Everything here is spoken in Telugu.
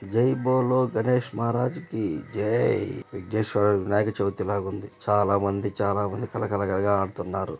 జై బోలో గణేష్ మహా రాజ్ కి జై విజ్ఞేశ్వర వినాయక చవితి లాగా ఉంది చాలా మంది చాలా మంది కళకళ గా అంటున్నారు.